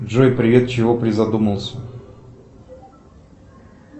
джой привет чего призадумался